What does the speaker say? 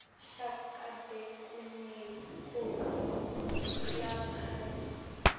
shaka bekuyinkhosi yakazulu